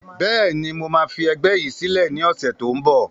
Bẹ́ẹ̀ni, mo máa fi ẹgbẹ́ yìí sílẹ̀ ni ọ̀sẹ̀ tó ń bọ̀